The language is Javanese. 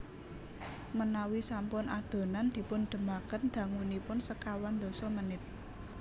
Menawi sampun adonan dipun dhemaken dangunipun sekawan dasa menit